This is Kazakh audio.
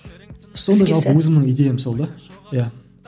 сондай жалпы өзімнің идеям сол да иә